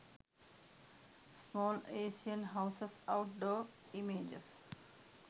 small asian houses out door images